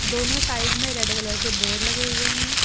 दोनों साइड में red colour के बोर्ड लगे हुए हैं।